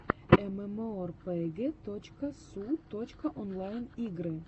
эмэмоэрпэгэ точка су точка онлайн игры